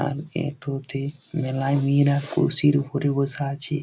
আর একটু তে মেলায় মেয়েরা কুরসির উপরে বসে আছে।